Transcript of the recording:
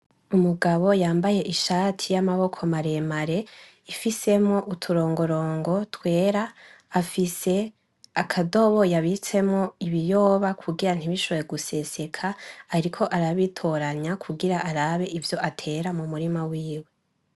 umugabo yambaye ishati y'amaboko mareremare ifisemwo uturongorongo twera, afise akadobo yabitsemwo ibiyoba kugira ntibishobore guseseka ariko arabitoranya kugira arabe ivyo atera mumurima wiwe.